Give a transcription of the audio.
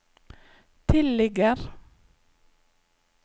tilligger